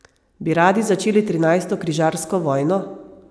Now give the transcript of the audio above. Bi radi začeli trinajsto križarsko vojno?